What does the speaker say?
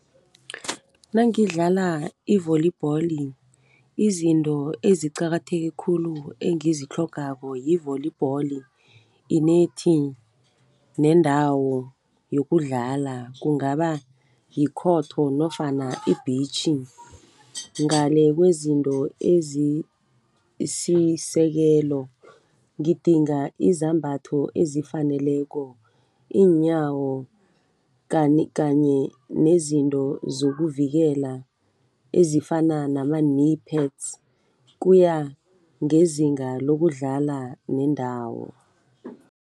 Nangidlala i-volleyball izinto eziqakatheke khulu engizitlhogako yi-volleyball, inethi nendawo yokudlala, kungaba yikhotho nofana i-beach. Ngale kwezinto ezisisekelo ngidinga izambatho ezifaneleko, iinyawo kanye nezinto zokuvikela ezifana nama-knee pads kuya ngezinga lokudlala nendawo.